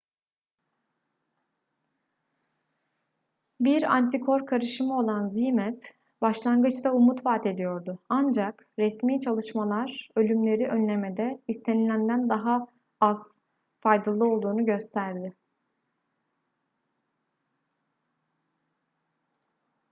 bir antikor karışımı olan zmapp başlangıçta umut vadediyordu ancak resmi çalışmalar ölümleri önlemede istenilenden daha az faydalı olduğunu gösterdi